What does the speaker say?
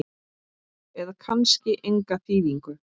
eða kannski enga þýðingu?